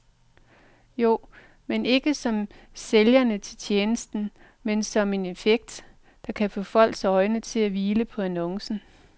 Jo, men ikke som sælgere af tjenesten, men som en effekt, der kan få folks øjne til at hvile på annoncen.